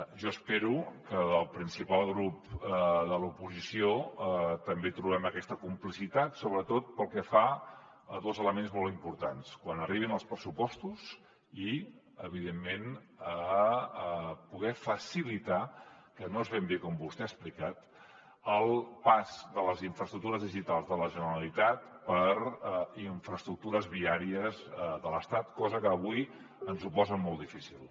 jo espero que en el principal grup de l’oposició també hi trobem aquesta complicitat sobretot pel que fa a dos elements molt importants quan arribin els pressupostos i evidentment poder facilitar que no és ben bé com vostè ha explicat el pas de les infraestructures digitals de la generalitat per infraestructures viàries de l’estat cosa que avui ens posa molt difícil